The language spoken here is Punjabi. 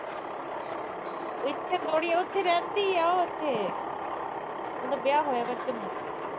ਇਥੇ ਥੋੜੀ ਉਹ ਰਹਿੰਦੀ ਆ ਉਥੇ, ਮਤਲਬ ਵਿਆਹ ਹੋਇਆ ਵਾ ਇਥੇ ਤਾਂ।